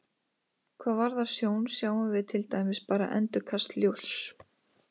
Hvað varðar sjón sjáum við til dæmis bara endurkast ljóss.